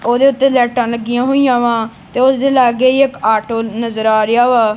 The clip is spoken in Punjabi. ਓਹਦੇ ਓੱਤੇ ਲਾਈਟਾਂ ਲੱਗੀਆਂ ਹੋਈਆਂ ਵਾਂ ਤੇ ਓਸਦੇ ਲੱਗੇ ਹੀ ਇੱਕ ਆਟੋ ਨਜ਼ਰ ਆ ਰਿਹਾ ਵਾ।